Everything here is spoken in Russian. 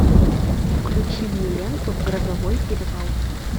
включи мне ленту грозовой перевал